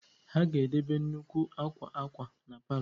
a ga-edobe nnukwu akwa akwa na palọ